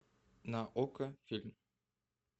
на окко фильм